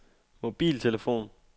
mobiltelefon